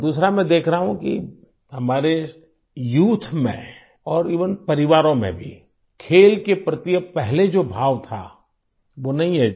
और दूसरा मैं देख रहा हूँ कि हमारे यूथ में और एवेन परिवारों में भी खेल के प्रति पहले जो भाव था वो नहीं है